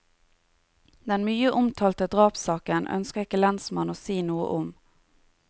Den mye omtalte drapssaken ønsker ikke lensmannen å si noe om.